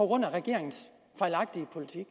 grund af regeringens fejlagtige politik